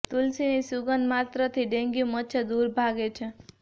તુલસીની સુગંધ માત્ર થી ડેન્ગ્યું મચ્છર દુર ભાગે છે